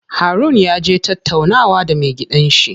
Harun yaje tattaunawa da me gidan shi.